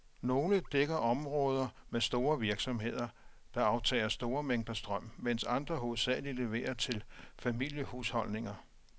Nogle dækker områder med store virksomheder, der aftager store mængder strøm, mens andre hovedsageligt leverer til familiehusholdninger.